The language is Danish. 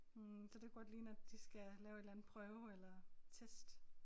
Hm så det kunne godt ligne at de skal lave et eller anden prøve eller test